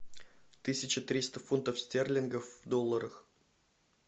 тысяча триста фунтов стерлингов в долларах